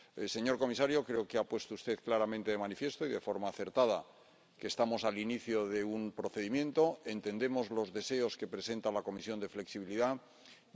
Señor comisario, creo que ha puesto usted claramente de manifiesto y de forma acertada que estamos al inicio de un procedimiento y entendemos los deseos de flexibilidad que presenta la Comisión.